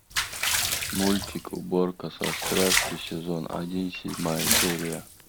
мультик уборка со страстью сезон один седьмая серия